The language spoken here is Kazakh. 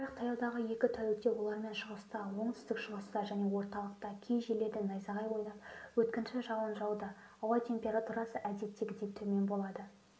бірақ таяудағы екі тәулікте олармен шығыста оңтүстік-шығыста және орталықта кей жерлерде найзағай ойнап өткінші жауын жауады ауа температурасы әдеттегіден төмен болады